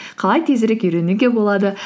қалай тезірек үйренуге болады